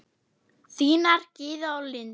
Þínar Gyða og Linda.